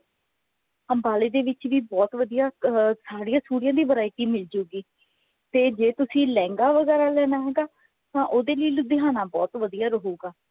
ਅੰਬਾਲੇ ਦੇ ਵਿੱਚ ਵੀ ਬਹੁਤ ਵਧੀਆ ਸਾੜੀ ਸੁੜੀਆ ਦੀ variety ਮਿਲ ਜੁਗੀ ਤੇ ਜੇ ਤੁਸੀਂ ਲਹਿੰਗਾ ਵਗੇਰਾ ਲੈਣਾ ਹੈ ਤਾ ਉਹਦੇ ਲਈ ਲੁਧਿਆਣਾ ਬਹੁਤ ਵਧੀਆ ਰਹੂਗਾ